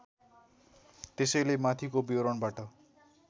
त्यसैले माथिको विवरणबाट